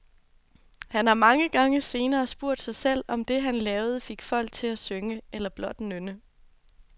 Han har mange gange senere spurgt sig selv, om det han lavede fik folk til at synge, eller blot nynne.